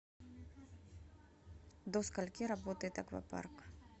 до скольки работает аквапарк